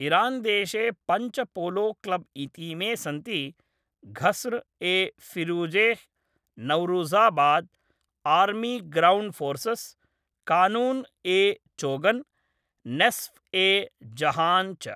इरान्देशे पञ्च पोलोक्लब् इतीमे सन्ति Ghasr e Firuzeh, Nowruzabad, Army Ground Forces, Qanun e Chogan, Nesf e Jahan च।